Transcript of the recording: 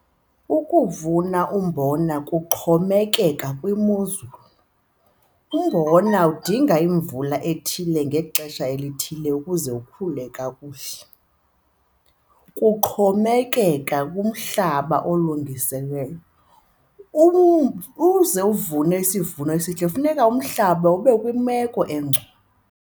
Ukuvuna umbona kuxhomekeka kwimozulu, umbona udinga imvula ethile ngexesha elithile ukuze ukhule kakuhle. Kuxhomekeka kumhlaba olungiselelweyo. Ukuze uvune isivuno esihle kufuneka umhlaba ube kwimeko engcono.